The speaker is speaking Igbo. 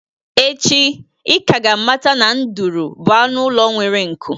Echi, ị ka ga-amata na ndụrụ bụ anụ ụlọ nwere nku